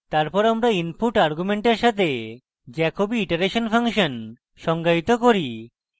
তারপর আমরা input arguments সাথে jacobi iteration ফাংশন সংজ্ঞায়িত করি